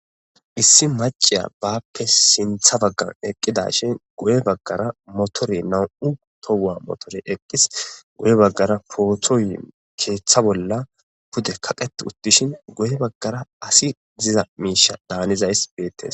Issi maciya baappe sintha baggan eqqidashin goye baggara motore nam'u tohua motore eqqis goye baggara pootoyi keeththa bolla pude kaqet uttishin goye baggara asi ziza miisha daanizays beettes.